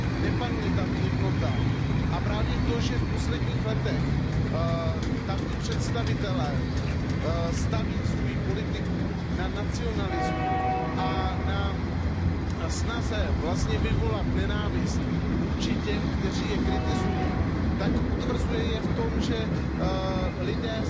Nepanuje tam jednota a právě to, že v posledních letech tamní představitelé staví svou politiku na nacionalismu a na snaze vyvolat nenávist vůči těm, kteří je kritizují, tak je utvrzuje v tom, že se lidé